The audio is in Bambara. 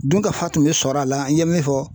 Dunkafa tun bɛ sɔrɔ a la n ye min fɔ.